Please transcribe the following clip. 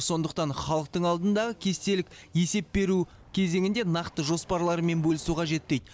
сондықтан халықтың алдындағы кестелік есеп беру кезеңінде нақты жоспарларымен бөлісу қажет дейді